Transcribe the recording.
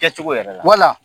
Kɛ cogo yɛrɛ la.